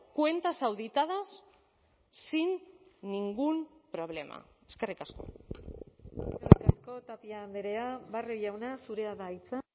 cuentas auditadas sin ningún problema eskerrik asko tapia andrea barrio jauna zurea da hitza